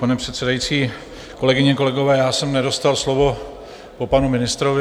Pane předsedající, kolegyně, kolegové, já jsem nedostal slovo po panu ministrovi.